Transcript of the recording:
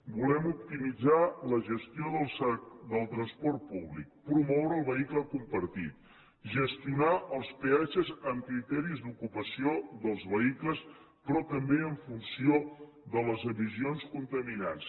volem optimitzar la gestió del transport públic promoure el vehicle compartit gestionar els peatges amb criteris d’ocupació dels vehicles però també en funció de les emissions contaminants